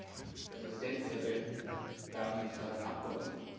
Herr Präsident, verehrte Damen und Herren Abgeordnete!